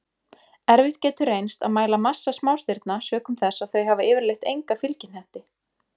Erfitt getur reynst að mæla massa smástirna sökum þess að þau hafa yfirleitt enga fylgihnetti.